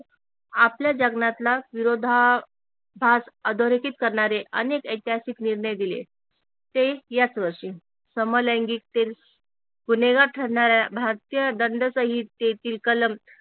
आपल्या जगण्यातला विरोधाभास अधोरेखित करणारे अनेक ऐतिहासिक निर्णय दिले ते याच वर्षी समलैंगिकतील गुन्हेगार ठरणाऱ्या भारतीय दंड सहित्येतील कलम